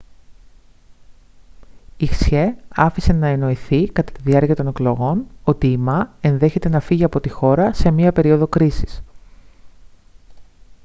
η hsieh άφησε να εννοηθεί κατά τη διάρκεια των εκλογών ότι η ma ενδέχεται να φύγει από τη χώρα σε μια περίοδο κρίσης